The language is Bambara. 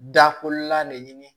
Da kolan de ɲini